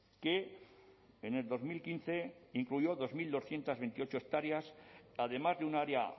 que en el dos mil quince incluyó dos mil doscientos veintiocho hectáreas además de un área